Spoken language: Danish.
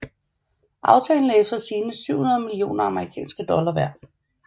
Aftalen er efter sigende 700 millioner amerikanske dollar værd